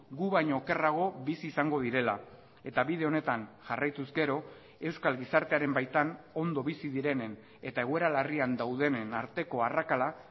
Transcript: gu baino okerrago bizi izango direla eta bide honetan jarraituz gero euskal gizartearen baitan ondo bizi direnen eta egoera larrian daudenen arteko arrakala